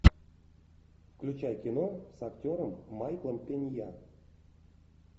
включай кино с актером майклом пенья